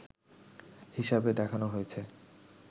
হিসাবে দেখানো হয়েছে